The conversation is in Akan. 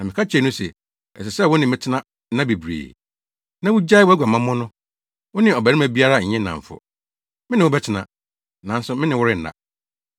Na meka kyerɛɛ no se, “Ɛsɛ sɛ wo ne me tena nna bebree, na wugyae wʼaguamammɔ no; wo ne ɔbarima biara nyɛ nnamfo. Me ne wo bɛtena, nanso me ne wo renna.”